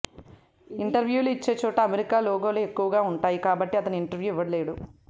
ఇంటర్వ్యూలు ఇచ్చే చోట అమెరికా లోగోలే ఎక్కువగా ఉంటాయి కాబట్టి అతను ఇంటర్వ్యూ ఇవ్వలేడు